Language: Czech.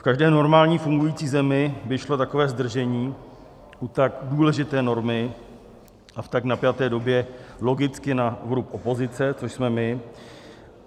V každé normální fungující zemi by šlo takové zdržení u tak důležité normy a v tak napjaté době logicky na vrub opozice, což jsme my.